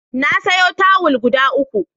Na sayo tawul guda uku.